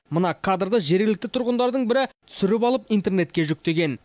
мына кадрды жергілікті тұрғындардың бірі түсіріп алып интернетке жүктеген